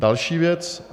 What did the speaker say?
Další věc.